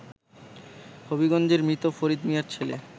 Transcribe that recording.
হবিগঞ্জের মৃত ফরিদ মিয়ার ছেলে